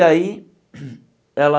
E aí, ela...